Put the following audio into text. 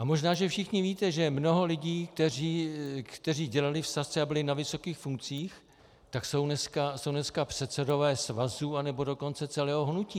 A možná že všichni víte, že mnoho lidí, kteří dělali v Sazce a byli na vysokých funkcích, tak jsou dneska předsedové svazů, anebo dokonce celého hnutí.